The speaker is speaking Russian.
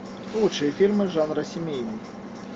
лучшие фильмы жанра семейный